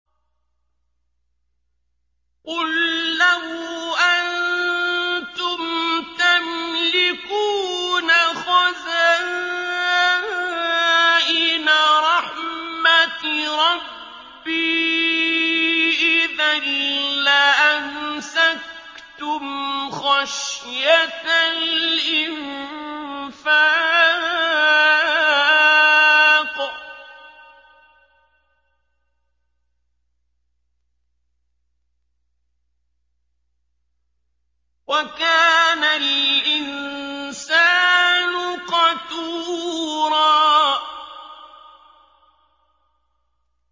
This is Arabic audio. قُل لَّوْ أَنتُمْ تَمْلِكُونَ خَزَائِنَ رَحْمَةِ رَبِّي إِذًا لَّأَمْسَكْتُمْ خَشْيَةَ الْإِنفَاقِ ۚ وَكَانَ الْإِنسَانُ قَتُورًا